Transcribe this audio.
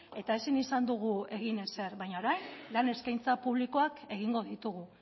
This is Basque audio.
eta ezin izan dugu egin ezer baina orain lan eskaintza publikoak egingo ditugu